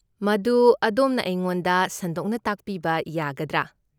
ꯃꯗꯨ ꯑꯗꯣꯝꯅ ꯑꯩꯉꯣꯟꯗ ꯁꯟꯗꯣꯛꯅ ꯇꯥꯛꯄꯤꯕ ꯌꯥꯒꯗ꯭ꯔꯥ?